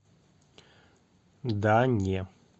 да не